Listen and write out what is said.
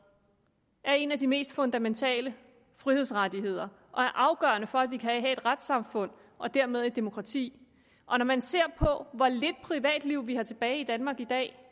er en af de mest fundamentale frihedsrettigheder og er afgørende for at vi kan have et retssamfund og dermed et demokrati når man ser på hvor lidt privatliv vi har tilbage i danmark i dag